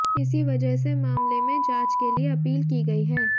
इसी वजह से मामले में जांच के लिए अपील की गई है